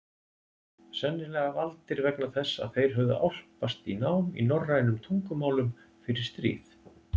Sennilega valdir vegna þess að þeir höfðu álpast í nám í norrænum tungumálum fyrir stríð.